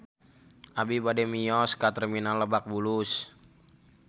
Abi bade mios ka Terminal Lebak Bulus